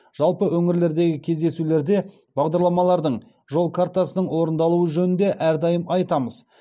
жалпы өңірлердегі кездесулерде бағдарламалардың жол картасының орындалуы жөнінде әрдайым айтамыз